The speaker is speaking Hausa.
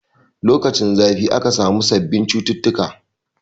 Lokacin zafi aka samu sabbin cututtuka